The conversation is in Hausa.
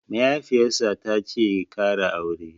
Mahaifiyar sa tace ya ƙara aure